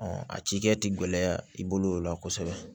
a ci kɛ ti gɛlɛya i bolo o la kosɛbɛ